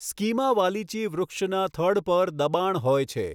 સ્કિમા wallichii વૃક્ષના થડ પર દબાણ હોય છે.